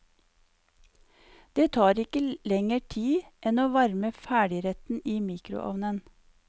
Det tar ikke lenger tid enn å varme ferdigretten i mikroovnen.